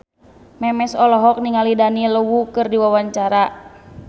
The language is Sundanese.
Memes olohok ningali Daniel Wu keur diwawancara